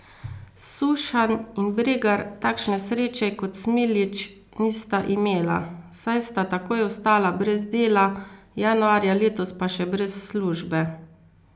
Sušanj in Bregar takšne sreče kot Smiljić nista imela, saj sta takoj ostala brez dela, januarja letos pa še brez službe.